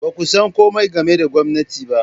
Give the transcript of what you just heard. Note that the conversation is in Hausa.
Ba ku san komai game da gwamnati ba.